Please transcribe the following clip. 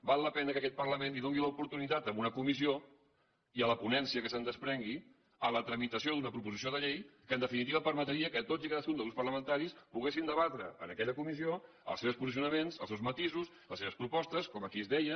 val la pena que aquest parlament doni l’oportunitat en una comissió i a la ponència que se’n desprengui a la tramitació d’una proposta de resolució que en definitiva permetria que tots i cadascun dels grups parlamentaris poguessin debatre en aquella comissió els seus posicionaments els seus matisos les seves propostes com aquí es deia